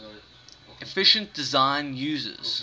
efficient design uses